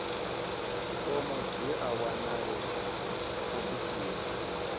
fomo dzi a wanalea ofisini